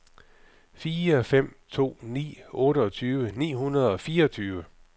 fire fem to ni otteogtyve ni hundrede og fireogtyve